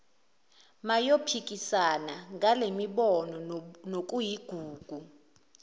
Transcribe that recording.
bayophikisana ngalemibono nokuyigugu